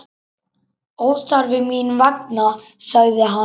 Óþarfi mín vegna, sagði hann.